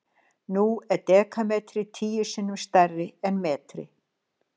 nú er dekametri tíu sinnum stærri en metri